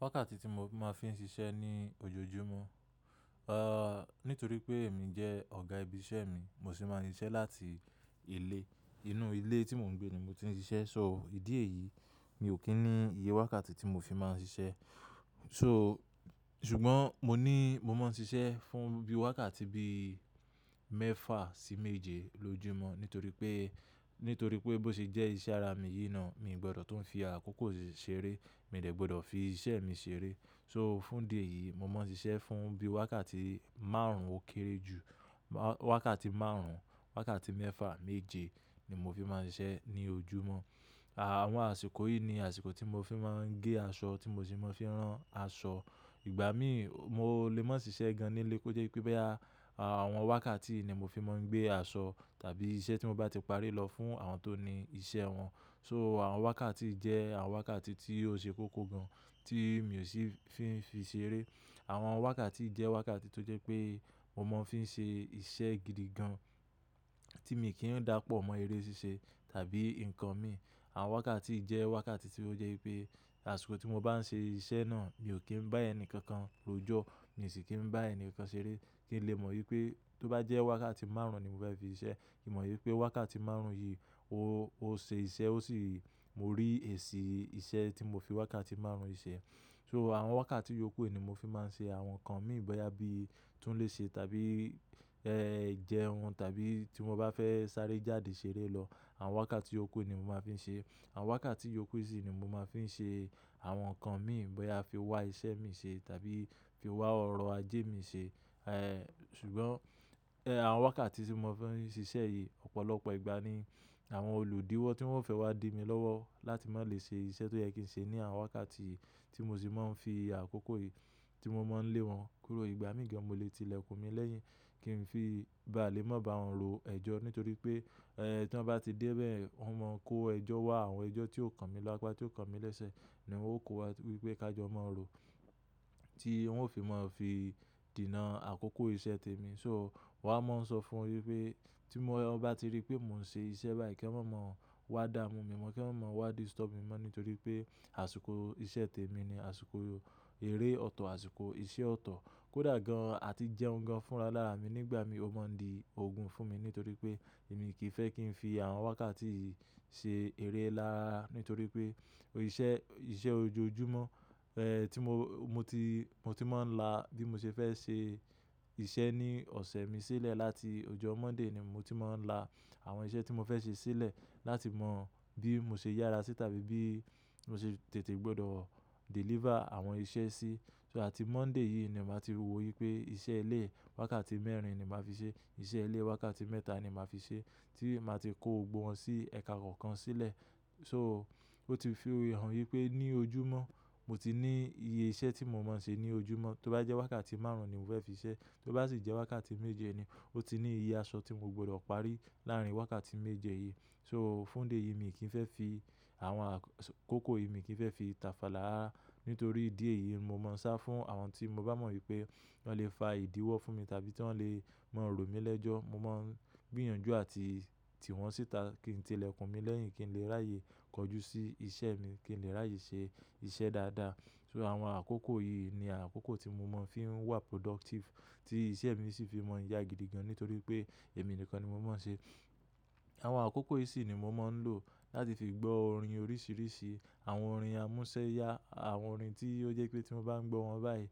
Wákàtí tí mo máa fi ń ṣiṣẹ́ ní ojoojúmọ́, eh nítorí pé èmi jẹ́ ọ̀gá ibi iṣẹ́ mi, ni mo se máa ń siṣẹ́ láti ilé. Inú ilé tí mò ń gbé ni mo ti ń ṣiṣẹ́. So ìdí èyí mi ò kí ń ní iye wákàtí tí mo fi máa ń ṣiṣẹ́. So ṣùgbọ́n mo ní mo máa ń ṣiṣẹ́ fún bí i wákàtí bí i mẹ́fà sí méje lójúmọ́. Nítorí pé, nítorí pé bó ṣe jẹ́ iṣẹ́ ara mi yìí náà mi ò gbọ́dọ̀ tún fi àkókò ṣèrè, mi ò gbọ́dọ̀ fi iṣẹ́ mi ṣèrè. So fún dé yìí mo máa ń ṣiṣẹ́ fún bí i wákàtí márùn-ún ó kéré jù, wákàtí márùn-ún, wákàtí mẹ́fà méje ni mo fi máa ń ṣe ní ojúmọ́. Àwọn àsìkò yìí ni àsìkò tí mo fi máa ń gé aṣọ tí mo sì máa ń fi rán aṣọ. Ìgbà mí mo lè máa ṣiṣẹ́ gan-an nílé kó jẹ́ wípé àwọn wákàtí yìí ni mo fi máa ń gbé aṣọ tàbí iṣẹ́ tí mo bá ti parí lọ fún àwọn tó ní iṣẹ́ wọn. So àwọn wákàtí jẹ́ àwọn wákàtí tí ó ṣe kókó gan tí mi ò sì fi ń fi ṣèrè. Àwọn wákàtí jẹ́ wákàtí tó jẹ́ pé mo máa ń fi ṣe iṣẹ́ gidi gan tí mi kì í dàpọ̀ mọ́ eré ṣíṣe tàbí nǹkan mi. Àwọn wákàtí jẹ́ wákàtí tí ó jẹ́ wípé àsìkò tí mo bá ń ṣe iṣẹ́ náà mi ò kí ń bá ẹni kankan rojọ, mi ò sì kí ń bá ẹni kankan ṣeré kí n lè mọ̀ wípé tó bá jẹ́ wákàtí márùn-ún ni mo fẹ́ fi iṣẹ́, kí n mọ̀ wípé wákàtí márùn-ún yìí ó ṣe iṣẹ́ ó sì mo rí èsì iṣẹ́ tí mo fi wákàtí márùn-ún ṣe. So àwọn wákàtí yòókù ni mo fi máa ń ṣe àwọn nǹkan mi bọyà bí i tún le ṣe tàbí ẹ́ jẹun tàbí tí mo bá fẹ́ sáré jáde ṣeré lọ. Àwọn wákàtí yòókù ni mo máa ń fi ṣe. Àwọn wákàtí yòókù yìí ni mo máa ń fi ṣe àwọn nǹkan mi ìbọn yà fi wá iṣẹ́ mi ṣe tàbí fi wá ọ̀rọ̀ ajé mi ṣe. Eh ṣùgbọ́n àwọn wákàtí tí mo fẹ́ ń ṣiṣẹ́ yìí ọ̀pọ̀lọpọ̀ ìgbà ni àwọn olùdíwọ́ tí wọ́n fẹ́ wá di mi lọ́wọ́ láti máa lè ṣe iṣẹ́ tó yẹ́ kí ń ṣe ní àwọn wákàtí yìí tí mo sì máa ń fi àkókò yìí tí mọ́ mọ lé wọn kúrò. Ìgbà mìíràn mo lè tilẹ̀kùn mi lẹ́yìn kí n fi ìbá lẹ́mọ́ba wọn ro ẹjọ́. Nítorí pé tí wọ́n bá ti dé bẹ́ẹ̀yen wọ́n mọ kó ẹjọ́ wá. Àwọn ẹjọ́ tí ó kan mi lápá, tí ó kan mi lẹ́sẹ̀ ni wọ́n ó kó wá wípé ká jọ mọ́ ọ rò tí wọn ó fi máa fi dènà àkókò iṣẹ́ tèmi. So mọ́ wá máa ń sọ fún mi wípé tí wọ́n bá ti rí pé mò ń ṣe iṣẹ́ báyìí kí wọ́n má mọ wá dá mú mi mọ́, kí wọ́n má wá disturb mi mọ́ nítorí pé àsìkò iṣẹ́ tèmi ni, àsìkò eré ọ̀tọ̀, àsìkò iṣẹ́ ọ̀tọ̀. Kódà gan-an àti jẹun gan-an fúnra lára mi nígbà mi ò mọ́ ń di òògùn fún mi nítorí pé èmi kì í fẹ́ kí n fi àwọn wákàtí yìí ṣe eré lára nítorí pé iṣẹ́, iṣẹ́ ojoojúmọ́ eh tí mo, mo ti, mo ti máa ń la bí mo ṣe fẹ́ ṣe iṣẹ́ ní ọ̀sẹ̀ mi sílẹ̀ láti ọjọ́ Monday ni mo ti máa ń la àwọn iṣẹ́ tí mo fẹ́ ṣe sílẹ̀ láti mọ bí mo ṣe yára sí tàbí bí mo ṣe tètè gbọdọ̀ deliver àwọn iṣẹ́ sí. So àti Monday yìí ni màá ti mọ wípé iṣẹ́ ilé wákàtí mẹ́rin ni màá fi ṣe, iṣẹ́ ilé wákàtí mẹ́ta ni màá fi ṣe tí màá ti kó gbogbo wọn sí ẹ̀ka kọ̀ọ̀kan sílẹ̀. So ó ti fi hàn wípé ní ojúmọ́ mo ti ní iye iṣẹ́ tí mo máa ń ṣe ní ojúmọ́. Tó bá jẹ́ wákàtí márùn-ún ni mo fẹ́ fi iṣẹ́, tó bá sì jẹ́ wákàtí méje ni ó ti ní iye aṣọ tí mo gbọdọ̀ parí láàárín wákàtí méje yìí. So fún idi éyìí mi kì í fẹ́ fi àwọn àkókò yìí, mi kì í fẹ́ fi tàfàlá nítorí ìdí èyí mo máa ń sá fún àwọn tí mo bá mọ̀ wípé wọ́n lè fa ìdíwọ́ fún mi tàbí tí wọ́n lè máa rò mí lẹ́jọ́. Mo máa ń gbìyànjú àti tì wọ́n síta kí n tilẹ̀kùn mi lẹ́yìn kí n lè ráyè kọjú sí iṣẹ́ mi, kí n lè ráyè ṣe iṣẹ́ dáadáa. So àwọn àkókò yìí ni àkókò tí mo máa ń fi wà productive tí iṣẹ́ mi sì fi máa ń yá gidi gan nítorí pé èmi nìkan ni mo máa ń ṣe. Àwọn àkókò yìí sì ni mo máa ń lò láti fi gbọ́ orin oríṣiríṣi, àwọn orin àmúṣẹ́ya, àwọn orin tí ó jẹ́ pé tí mo bá ń gbọ́ wọn báyìí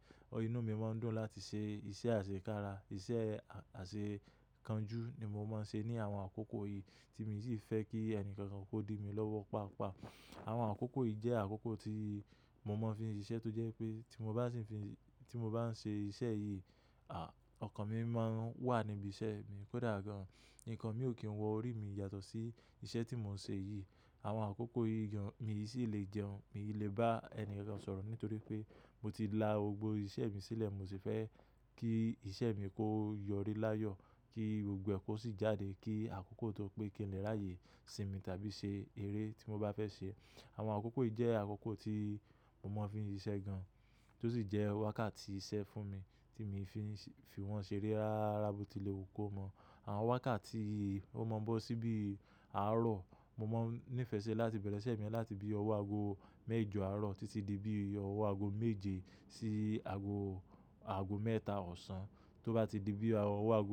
inú mi máa ń dùn láti ṣe iṣẹ́ àṣekára, iṣẹ́ àṣekánjú ni mo máa ń ṣe ní àwọn àkókò yìí tí mi sì fẹ́ kí ẹni kankan kó di mi lọ́wọ́ paapaa. Àwọn àkókò yìí jẹ́ àkókò tí mo máa ń fi ń ṣiṣẹ́ tó jẹ́ pé tí mo bá sì ń fi, tí mo bá ń ṣe iṣẹ́ yìí, ọkàn mi máa ń wà níbi iṣẹ́ mi. Kódà gan-an nǹkan mi ò kí ń wọ orí mi yàtọ̀ sí iṣẹ́ tí mò ń ṣe yìí. Àwọn àkókò yìí mi sì lè jẹun, mi ò lè bá ẹni kankan sọ̀rọ̀ nítorí pé mo ti la gbogbo iṣẹ́ mi sílẹ̀, mo sì fẹ́ kí iṣẹ́ mi kó yọrí láyọ̀, kí gbogbo ẹ̀ kó sì jáde, kí àkókò tó pé kí n lè ráyè sinmi tàbí ṣe eré tí mo bá fẹ́ ṣe. Àwọn àkókò yìí jẹ́ àkókò tí mò máa ń fi ń ṣiṣẹ́ gan-an tó sì jẹ́ wákàtí iṣẹ́ fún mi tí mo fi ń fi wọ́n ṣeré rára bó ti lè wò ó kó mọ̀. Àwọn wákàtí yii ó mọ̀ ọ́n bọ́ sí bí àárọ̀, mo máa ń nífẹ̀ẹ́ ṣe láti bẹ̀rẹ̀ iṣẹ́ mi láti bí ọwọ́ ago méjọ àárọ̀ títí di bí ọwọ́ ago méje sí ago, ago mẹ́ta ọ̀sán. Tó bá ti di bí ọwọ́ ago.